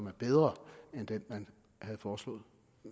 er bedre end den man havde foreslået